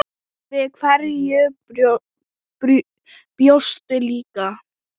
Við hverju bjóstu líka?